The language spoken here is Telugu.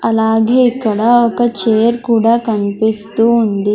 అలాగే ఇక్కడ ఒక చైర్ కూడా కనిపిస్తూ ఉంది.